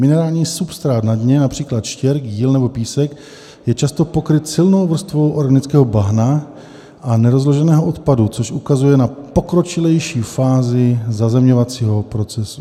Minerální substrát na dně, například štěrk, jíl nebo písek, je často pokryt silnou vrstvou organického bahna a nerozloženého odpadu, což ukazuje na pokročilejší fázi zazemňovacího procesu.